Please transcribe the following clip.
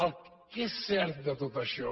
el que és cert de tot això